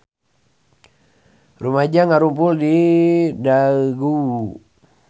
Rumaja ngarumpul di Daegu